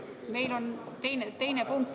Meil on siin teine punkt.